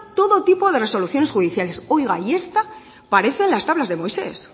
todo tipo de resoluciones judiciales oiga y esta parecen las tablas de moisés